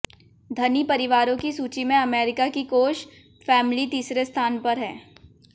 धनी परिवारों की सूची में अमेरिका की कोश फैमली तीसरे स्थान पर